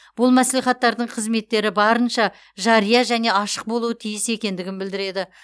бұл мәслихаттардың қызметтері барынша жария және ашық болуы тиіс екендігін білдіреді